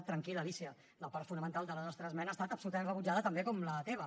tranquil·la alícia la part fonamental de la nostra esmena ha estat absolutament rebutjada també com la teva